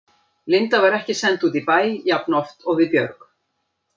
Linda var ekki send út í bæ jafnoft og við Björg.